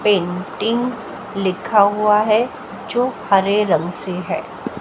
Painting लिखा हुआ है जो हरे रंग से है।